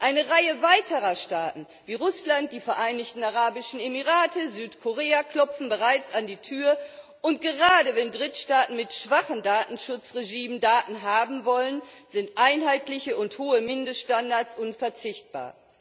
Eine Reihe weiterer Staaten, wie Russland, die Vereinigten Arabischen Emirate und Südkorea, klopfen bereits an die Tür, und gerade wenn Drittstaaten mit schwachen Datenschutzregimen Daten haben wollen, sind einheitliche und hohe Mindeststandards unverzichtbar.